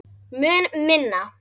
Mun minna.